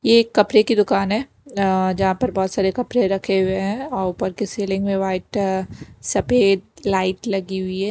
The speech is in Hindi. ये एक कपड़े की दुकान है जहाँ पर बहुत सारे कपड़े रखे हुए हैंऔर ऊपर की सीलिंग में वाइट सफेद लाइट लगी हुई है।